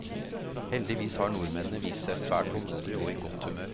Heldigvis har nordmennene vist seg svært tålmodige og i godt humør.